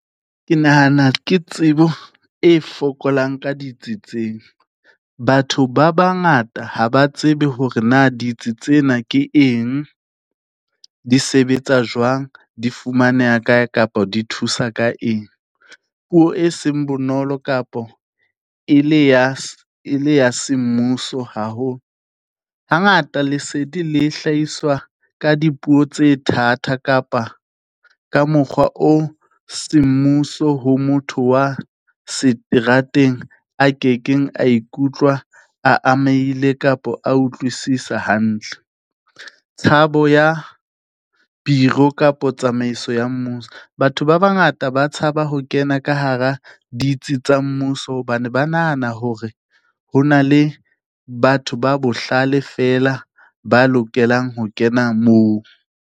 Ke nahana ke tsebo e fokolang ka ditsitseng. Batho ba bangata ha ba tsebe hore na ditsi tsena ke eng, di sebetsa jwang, di fumaneha kae kapo di thusa ka eng? Puo e seng bonolo kapo e le ya, e le ya semmuso haholo. Hangata lesedi le hlahiswa ka dipuo tse thata kapa ka mokgwa o semmuso ho motho wa seterateng a ke keng a ikutlwa a amaeile kapo a utlwisisa hantle. Tshabo ya bureau kapo tsamaiso ya mmuso. Batho ba bangata ba tshaba ho kena ka hara ditsi tsa mmuso, hobane ba nahana hore ho na le batho ba bohlale fela ba lokelang ho kena moo.